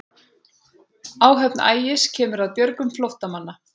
Áhöfn Ægis kemur að björgun flóttamanna